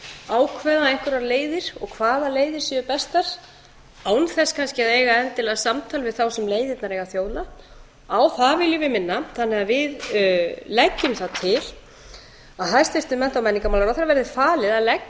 ákveða einhverjar leiðir og hvaða leiðir séu bestar án þess kannski að eiga endilega samtal við þá sem leiðirnar eiga að þjóna á það viljum við minna þannig að við leggjum það til að hæstvirtum mennta og menningarmálaráðherra verði falið að leggja